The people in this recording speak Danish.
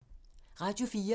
Radio 4